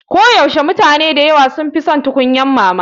Koyaushe mutane da yawa sun fi son tukunyar mama.